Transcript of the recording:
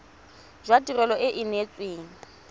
jwa tirelo e e neetsweng